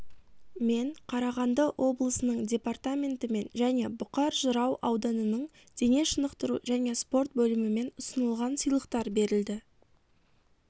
мен қарағанды облысының департаментімен және бұқар-жырау ауданының дене шынықтыру және спорт бөлімімен ұсынылған сыйлықтар берілді